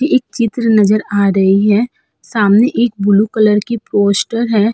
एक चित्र नजर आ रही है। सामने एक ब्लू कलर की पोस्टर है।